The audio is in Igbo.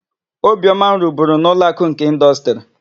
Obiọma rụburu na Ụlọakụ nke Ịndọstrị.